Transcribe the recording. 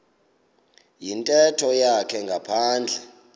yintetho yakhe ngaphandle